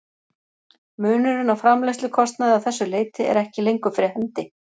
Munurinn á framleiðslukostnaði að þessu leyti er ekki lengur fyrir hendi.